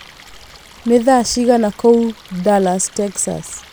nĩ thaa cigana kũu Dallas Texas